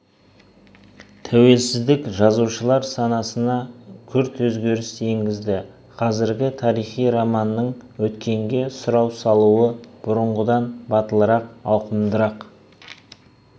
тәуелсіздік жазушылар санасына күрт өзгеріс енгізді қазіргі тарихи романның өткенге сұрау салуы бұрынғыдан батылырақ ауқымдырақ